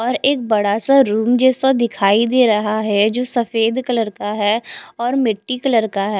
और एक बड़ा सा रूम जैसा दिखाई दे रहा है जो सफ़ेद कलर का है और मिटटी कलर का है।